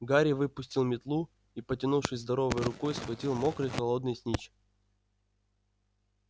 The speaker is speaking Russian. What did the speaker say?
гарри выпустил метлу и потянувшись здоровой рукой схватил мокрый холодный снитч